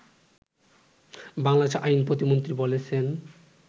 বাংলাদেশের আইন প্রতিমন্ত্রী বলেছেন